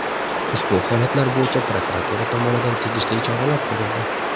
Ushbu holatlar bo‘yicha prokuratura tomonidan tegishli choralar ko‘rildi.